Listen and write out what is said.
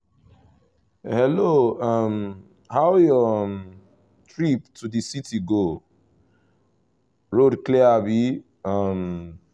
hello um how your um trip to the city go? road clear abi? um